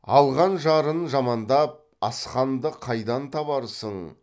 алған жарын жамандап асқанды қайдан табарсың